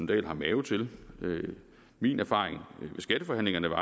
dahl har mave til min erfaring ved skatteforhandlingerne var